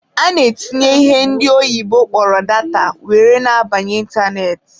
A na-etinye ihe ndị oyibo kpọrọ 'data' were na-abanye ịntanetị.